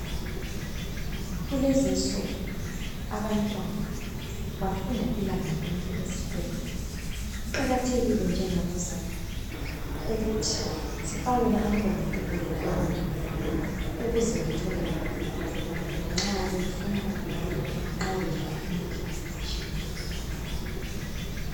Kulezinsuku abantwana bafunda ilanga lonke esikolo Kuqakathekile njengabazali ukuthi sifakele abantwana ukudla okwaneleyo ukuze bethole amandla nxa befunda lanxa bedlala imidlalo etshiyeneyo.